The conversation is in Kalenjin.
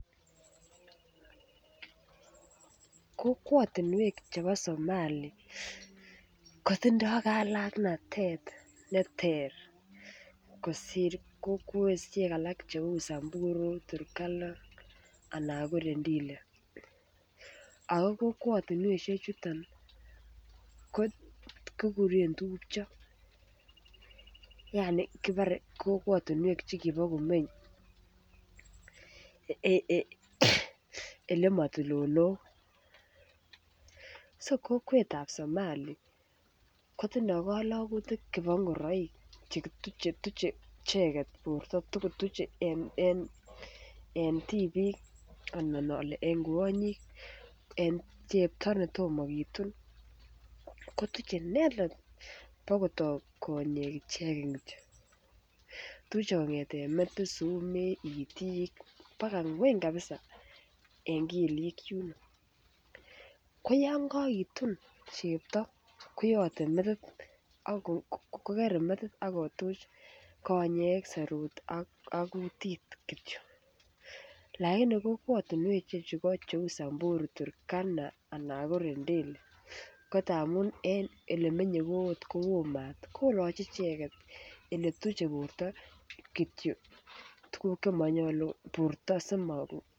Kokwa chebo Somali kotindoi kalaktanatet neter kosir kowatisiek alak cheu Turkana, samburu anan ko rendile ago kokwatinwek chuton ko kiguren tupcho yaani kibore kokwatinwek che kibo komeny Ole mo tulonok so kokwet Somali kotindoi kalagutik chebo ngoroik Che tuche icheget borto tugul en tibik anan tibik ak kwo ak tibik Che Tom kitun kotuche inendet kobo kotok konyek ichegen Kityo tuche kongeten metit.,sumek, itik, baka ngweny kabisa en kelyek yuno koyon kogitun chepto kogere metit ak kotuch konyek serut ak kutit Kityo lakini kokwatinwek alak cheu Turkana, samburu anan rendile ko ole menye koo maat koloche icheget Che tuche borto Kityo tuguk Che manyolu